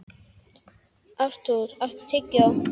Artúr, áttu tyggjó?